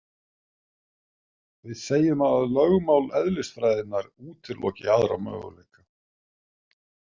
Við segjum að lögmál eðlisfræðinnar útiloki aðra möguleika.